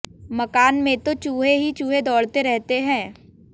मकान में तो चूहे ही चूहे दौड़ते रहते हैं